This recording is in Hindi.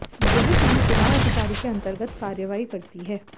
यह टीम चुनाव अधिकारी के अंतर्गत कार्रवाई करती है